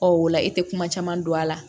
Ɔ o la e tɛ kuma caman dɔn a la